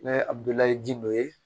N'a ye adulayi ji nɔ ye